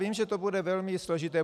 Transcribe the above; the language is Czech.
Vím, že to bude velmi složité.